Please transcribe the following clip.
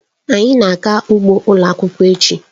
Anyị na-aga ugbo ụlọ akwụkwọ echi.